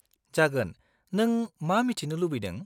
-जागोन, नों मा मिथिनो लुबैदों?